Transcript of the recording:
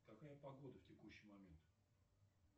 какая погода в текущий момент